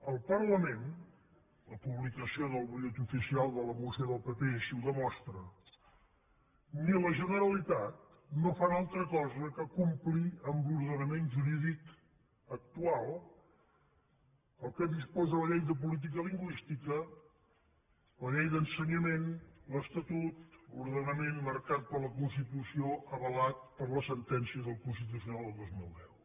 al parlament la publicació en el butlletí oficial de la moció del pp així ho demostra i a la generalitat no fan altra cosa que complir l’ordenament jurídic actual el que disposa la llei de política lingüística la llei d’educació l’estatut o l’ordenament marcat per la constitució avalat per la sentència del constitucional del dos mil deu